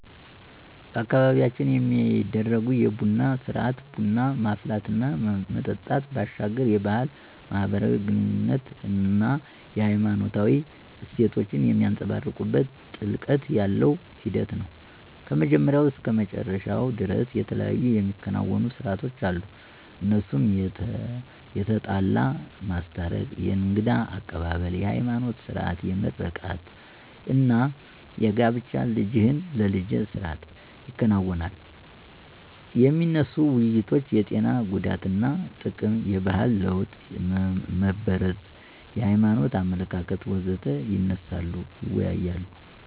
በአካባቢያችን የሚደረጉ የቡና ስርአት (ቡና ማፍላት እና መጠጣት) ባሻገር የባህል፣ ማህበራዊ ግኑኝነት አና ሃይማኖታዊ እሴቶችን የሚንፀባረቅበት ጥልቀት ያለው ሂደት ነው። ከመጀመሪያው እስከ መጨረሻው ደርስ የተለያዩ የሚከናወኑ ሰርአቶች አሉ እነሱም የተጣላ ማስታረቅ፣ የእንግዳ አቀባብል፣ የሀይማኖት ስርአት (ምርቃት) አና የጋብቻ ልጅህን ለልጀ ስርአት ይከናወናል። የሚነሱ ውይይቶች የጤና ጉዳትና ጥቅም፣ የባህል ለወጥ (መበረዝ) የሀይማኖት አመለካከት.... ወዘተ ይነሳሉ ይወያያሉ።